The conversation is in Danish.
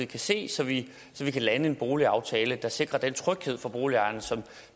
kan se så vi kan lande en boligaftale der sikrer den tryghed for boligejerne som